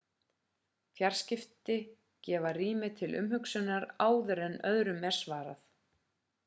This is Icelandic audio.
fjarsamskipti gefa rými til umhugsunar áður en öðrum er svarað